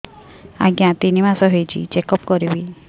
ଆଜ୍ଞା ତିନି ମାସ ହେଇଛି ଚେକ ଅପ କରିବି